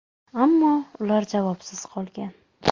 Ammo ular javobsiz qolgan.